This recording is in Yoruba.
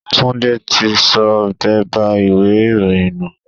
Túndé tí sọ bẹ́bà ìwé ìròyìn nù.